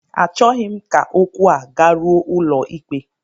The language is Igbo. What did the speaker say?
Achọghị m ka okwu a garuo ụlọikpe